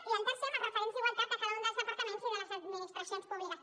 i el tercer amb els referents d’igualtat de cada un dels departaments i de les administracions públiques